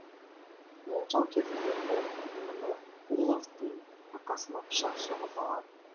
жанжал кезінде ол мініғұловтың арқасына пышақ сұғып алады